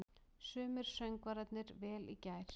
Sungu söngvararnir vel í gær?